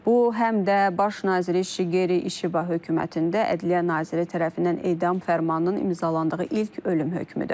Bu həm də Baş nazir Şigeri İşiba hökumətində ədliyyə naziri tərəfindən edam fərmanının imzalandığı ilk ölüm hökmüdür.